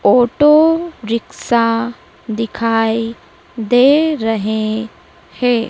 Auto rickshaw दिखाई दे रहें हैं।